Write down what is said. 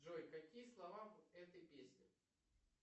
джой какие слова в этой песне